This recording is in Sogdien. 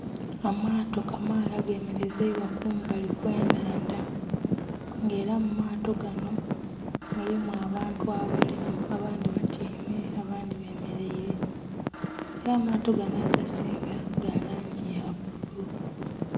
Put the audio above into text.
Amaato kamaala gemelezeibwa kumbali kwe nhandha nga era mu mato ganho mulimu abantu abali abandhi batyaime abandhi bemereire era amaato ganho agasinga ga langi ya bulu.